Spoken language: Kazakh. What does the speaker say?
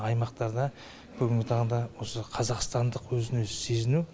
аймақтарда бүгінгі таңда осы қазақстандық өзін өзі сезіну